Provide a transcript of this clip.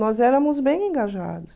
Nós éramos bem engajados.